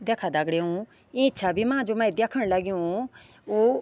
दैखा दगड़ियों इ छवि मा जू मै दयेखण लग्यूं ऊ।